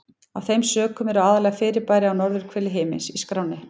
Af þeim sökum eru aðallega fyrirbæri á norðurhveli himins í skránni.